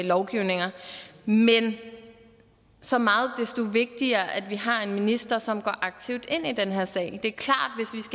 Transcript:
lovgivninger men så meget desto vigtigere er det at vi har en minister som går aktivt ind i den her sag det